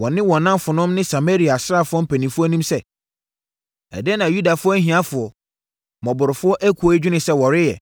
wɔ ne nnamfonom ne Samaria asraafoɔ mpanimfoɔ anim sɛ, “Ɛdeɛn na Yudafoɔ ahiafoɔ, mmɔborɔfoɔ ekuo yi dwene sɛ wɔreyɛ?